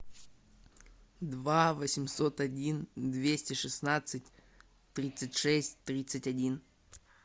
два восемьсот один двести шестнадцать тридцать шесть тридцать один